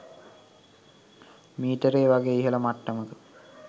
මීටරේ . වගේ ඉහළ මට්ටමක